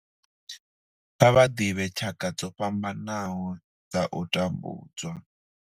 Kha vha ḓivhe tshaka dzo fhambanaho dza u tambudzwa.